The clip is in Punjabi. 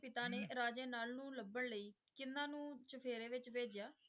ਪਿਤਾ ਨੇ ਰਾਜੇ ਨਲ ਨੂੰ ਲੱਭਣ ਲਈ ਕਿਹਨਾਂ ਨੂੰ ਚੁਫੇਰੇ ਵਿੱਚ ਭੇਜਿਆ?